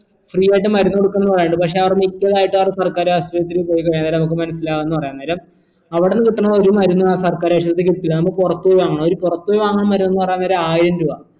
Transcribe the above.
free ആയിട്ട് മരുന്ന് കൊടുക്കുന്നു പറയിണ്ട് പക്ഷെ അവർ മിക്കതായിട്ടു അവർ സർക്കാർ ആശുപത്രിയിൽ പോയി കഴിഞ്ഞാൽ അന്നേരം നമുക്ക് മനസിലാവുംന്ന് പറയാൻ നേരം അവിടുന്ന് കിട്ടണ ഒരു മരുന്നും ആ സർക്കാർ ആശുപത്രിൽ കിട്ടില്ല നമ്മ പുറത്തു പോയി വാങ്ങണം ഒരു പുറത്തു പോയി വാങ്ങാൻ മരുന്ന് പറയാൻ നേരം ആയിരം രൂപ